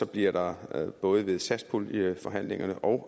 bliver der både ved satspuljeforhandlingerne og